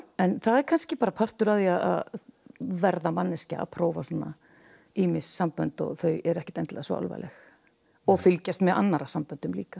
en það er kannski bara partur af því að verða manneskja að prófa svona ýmis sambönd og þau eru ekkert endilega svo alvarleg og fylgjast með annarra samböndum líka